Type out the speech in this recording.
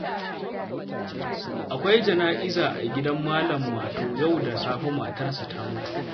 Akwai jana'iza a gidan Malam Mato yau da safe, matarsa ta mutu